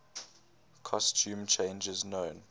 costume changes known